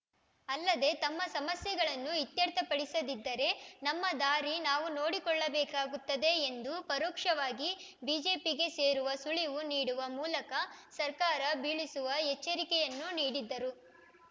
ಅಲ್ಲದೆ ತಮ್ಮ ಸಮಸ್ಯೆಗಳನ್ನು ಇತ್ಯರ್ಥಪಡಿಸದಿದ್ದರೆ ನಮ್ಮ ದಾರಿ ನಾವು ನೋಡಿಕೊಳ್ಳಬೇಕಾಗುತ್ತದೆ ಎಂದು ಪರೋಕ್ಷವಾಗಿ ಬಿಜೆಪಿಗೆ ಸೇರುವ ಸುಳಿವು ನೀಡುವ ಮೂಲಕ ಸರ್ಕಾರ ಬೀಳಿಸುವ ಎಚ್ಚರಿಕೆಯನ್ನೂ ನೀಡಿದ್ದರು